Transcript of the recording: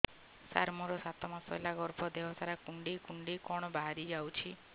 ସାର ମୋର ସାତ ମାସ ହେଲା ଗର୍ଭ ଦେହ ସାରା କୁଂଡେଇ କୁଂଡେଇ କଣ ବାହାରି ଯାଉଛି